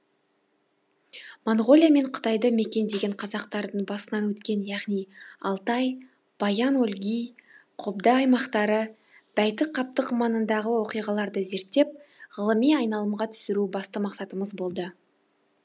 моңғолия мен қытайды мекендеген қазақтардың басынан өткен яғни алтай баян өлгий қобда аймақтары бәйтік қаптық маңындағы оқиғаларды зерттеп ғылыми айналымға түсіру басты мақсатымыз болды